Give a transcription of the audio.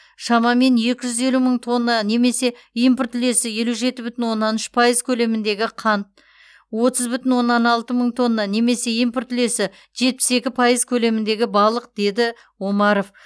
шамамен екі жүз елу мың тонна немесе импорт үлесі елу жеті бүтін оннан үш пайыз көлеміндегі қант отыз бүтін оннан алты мың тонна немесе импорт үлесі жетпіс екі пайыз көлеміндегі балық деді с омаров